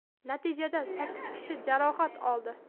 Natijada sakkiz kishi jarohat oldi.